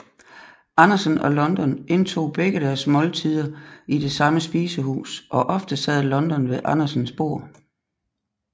Andersen og London indtog begge deres måltider i det samme spisehus og ofte sad London ved Andersens bord